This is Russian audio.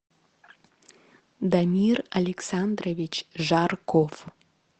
дамир александрович жарков